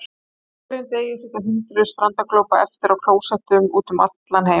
Á hverjum degi sitja hundruð strandaglópa eftir á klósettum út um allan heim.